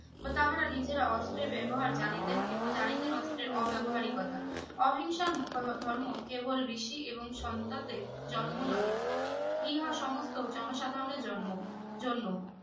বা তাহারা নিজেরা অস্ত্রে ব্যবহার জানিতেন এবং জানিতেন অস্ত্রের অব্যবহারি কতা অহিংসার ধর্ম কেবল ঋষি এবং সন্তাদের জন্ম নহে ইহা সমস্ত জনসাধারণের জন্ম জন্য